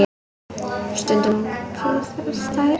Stundum kyssast þær.